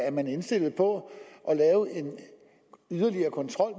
er man indstillet på at lave en yderligere kontrol